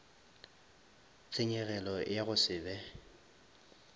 tshenyegelo ya go se be